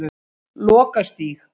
Lokastíg